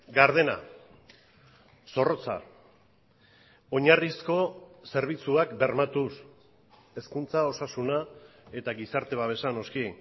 gardena zorrotza oinarrizko zerbitzuak bermatuz hezkuntza osasuna eta gizarte babesa noski